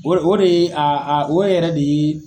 O o de ye o yɛrɛ de ye